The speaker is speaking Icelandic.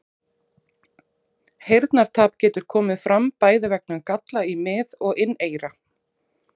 Heyrnartap getur komið fram bæði vegna galla í mið- og inneyra.